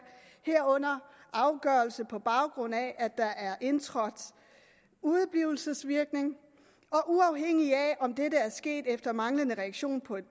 herunder afgørelse på baggrund af at der er indtrådt udeblivelsesvirkning og uafhængigt af om det er sket efter manglende reaktion på et